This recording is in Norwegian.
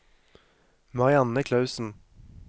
Marianne Klausen